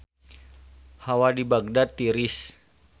Hawa di Bagdad tiris